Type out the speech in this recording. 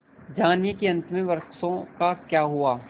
जानिए कि अंत में वृक्षों का क्या हुआ